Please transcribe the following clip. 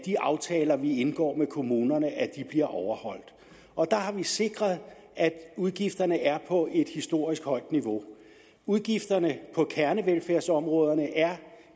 de aftaler vi indgår med kommunerne bliver overholdt og der har vi sikret at udgifterne er på et historisk højt niveau udgifterne på kernevelfærdsområderne er